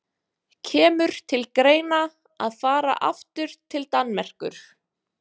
Kemur til greina að fara aftur til Danmerkur?